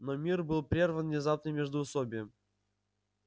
но мир был прерван внезапным междуусобием